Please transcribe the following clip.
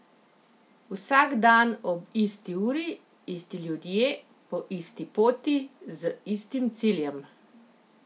Vsak dan ob isti uri, isti ljudje, po isti poti, z istim ciljem.